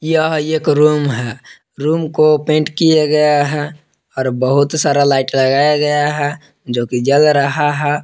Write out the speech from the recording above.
यह एक रूम है रूम को पेंट किया गया है और बहुत सारा लाइट लगाया गया है जो कि जग रहा है।